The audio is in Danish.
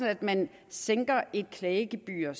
at man sænker et klagegebyr